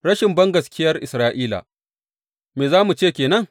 Rashin bangaskiyar Isra’ila Me za mu ce ke nan?